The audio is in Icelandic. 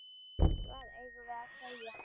Hvað eigum við að segja?